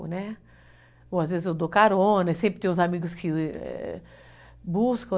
Né, ou às vezes eu dou carona, sempre tem os amigos que buscam.